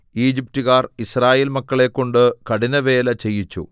ഈജിപ്റ്റുകാർ യിസ്രായേൽമക്കളെക്കൊണ്ടു കഠിനവേല ചെയ്യിച്ചു